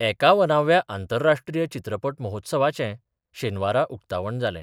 एकावनाव्या आंतरराष्ट्रीय चित्रपट महोत्सवाचे शेनवारा उक्तावण जालें.